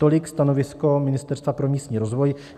Tolik stanovisko Ministerstva pro místní rozvoj.